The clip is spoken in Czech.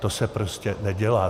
To se prostě nedělá.